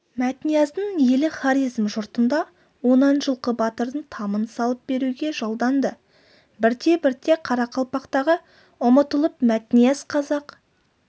мәтнияздың елі хорезм жұртында онан жылқы батырдың тамын салып беруге жалданды бірте-бірте қарақалпақтығы ұмытылып мәтнияз қазақ